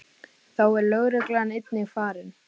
Þá er lögreglan einnig farin